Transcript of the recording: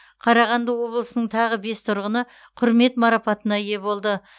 қарағанды облысының тағы бес тұрғыны құрмет марапатына ие болды